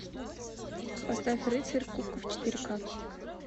поставь рыцарь кубков четыре ка